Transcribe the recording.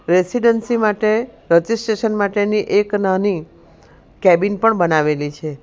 Residency માટે registration માટેની એક નાની કેબિન પણ બનાવેલી છે.